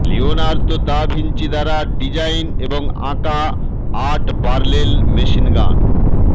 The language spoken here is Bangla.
লিওনার্দো দ্য ভিঞ্চি দ্বারা ডিজাইন এবং আঁকা আট বার্লেল মেশিন গান